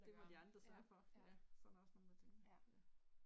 Det må de andre sørge for, ja. Sådan er der også nogen der tænker